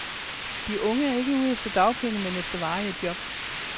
De unge er ikke ude efter dagpenge, men efter varige jobs.